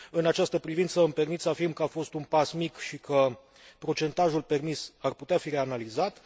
În această privință, îmi permit să afirm că a fost un pas mic și că procentajul permis ar putea fi reanalizat.